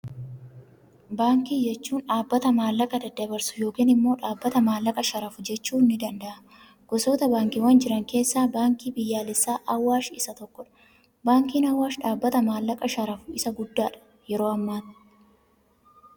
Baankii jechuun dhaabbata maallaqa daddabarsu yookaan immoo dhaabbata maallaqa sharafu jechuun ni danda'ama. Gosoota baankiiwwan jiran keessaa, baankiin biyyaalessaa Awaash isa tokkodha. Baankiin Awaash dhaabbata maallaqa sharafu isa guddaadha yeroo ammaati.